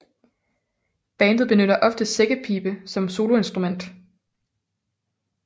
Bandet benytter ofte sækkepibe som soloinstrument